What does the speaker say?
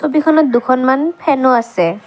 ছবিখনত দুখনমান ফেনো আছে।